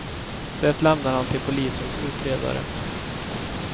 Det lämnar han till polisens utredare.